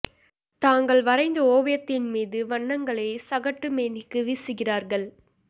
தாங்கள் வரைந்த ஓவியத்தின் மீது வண்ணங்களைச் சகட்டு மேனிக்கு வீசுகிறார்கள்